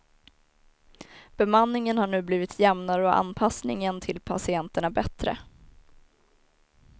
Bemanningen har nu blivit jämnare och anpassningen till patienterna bättre.